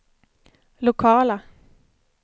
lokala